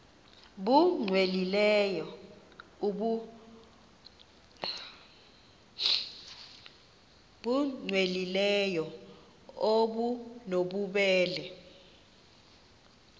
nbu cwengileyo obunobubele